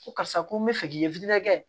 Ko karisa ko n bɛ fɛ k'i ye kɛ